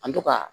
An to ka